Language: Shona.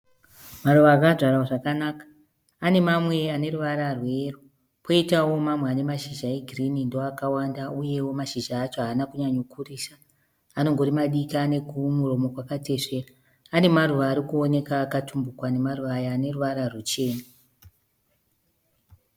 Maruva akadyarwa zvakanaka. Kune mamwewo aneruvara rweyero koitawo mamwe anemashizha egirini ndoakawanda uyewo mashizha acho haana kunyanya kukurisa anongori madiki ane kamuromo kakatesveka. Pane maruva arikuoneka akatumbuka pamaruva Aya aneruvara ruchena